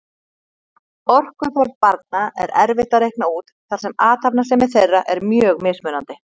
Orkuþörf barna er erfitt að reikna út þar sem athafnasemi þeirra er mjög mismunandi.